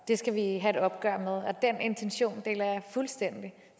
det skal vi have et opgør med og den intention deler jeg fuldstændig